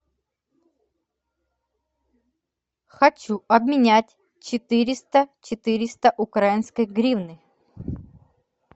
хочу обменять четыреста четыреста украинской гривны